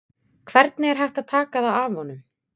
Hvernig er hægt að taka það af honum?